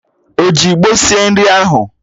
O ji ịgbo sie nri ahụ